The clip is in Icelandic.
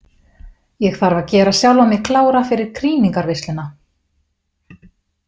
Ég þarf að gera sjálfa mig klára fyrir krýningarveisluna.